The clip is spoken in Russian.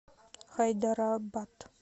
хайдарабад